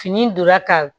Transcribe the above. Fini in donna ka